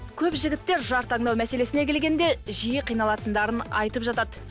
көп жігіттер жар таңдау мәселесіне келгенде жиі қиналатындарын айтып жатады